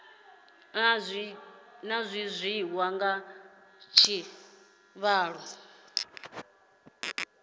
zwi tshi ya nga tshivhalo